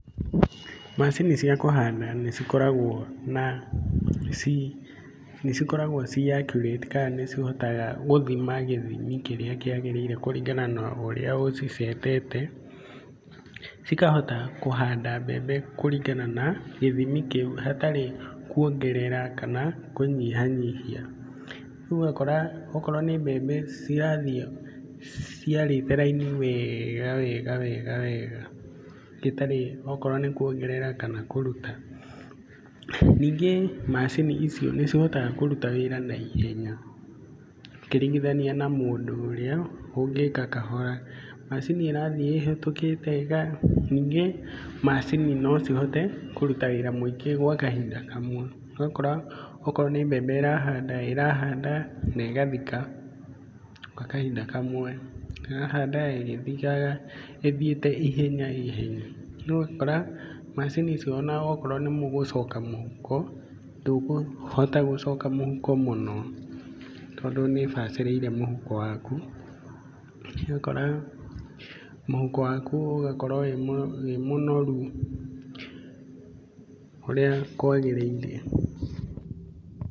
Macini cia kũhanda ni cikoragwo na, ci accurate, kana nĩ cihotaga gũthima gĩthimi kĩrĩria kĩagĩrĩire kũringana na ũrĩa ũcicetete. Cikahota kũhanda mbembe kũringana na gĩthimi kĩũ hatarĩ kũongerera kana kũnyihanyihia. Rĩũ ũgakora okorwo nĩ mbembe cirathiĩ ciarĩte raini wega wega wega wega ĩtarĩ o korwo nĩ kuongerera kana kũrũta. Ningĩ macini icio nĩ cihotaga kũrũta wĩra naihenya, ũkĩringithania na mũndũ ũrĩa ũngĩka kahora. Macini ĩrathiĩ ĩhetũkĩte ĩgathiĩ, ningĩ maacini no cihote kũrũta wĩra mũingĩ gwa kahinda kamwe. Ũgakora okorwo nĩ mbembe ĩrahanda, irahanda, na ĩgathika gwa kahinda kamwe. Ĩrahanda ĩgĩthikaga ĩthiĩte ihenya ihenya. No ũgakora macini icio ona okorwo nĩ mũgũcooka mũhuko, ndũkũhota gũcoka mũhuko mũno, tondũ nĩ ĩbacĩrĩire mũhuko waku. Ũgakora, mũhuko waku ũgakorwo wĩ mũnoru ũrĩa kwagĩrĩire.